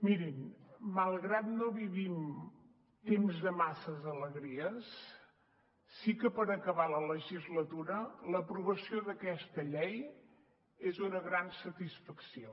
mirin malgrat que no vivim temps de masses alegries sí que per acabar la legislatura l’aprovació d’aquesta llei és una gran satisfacció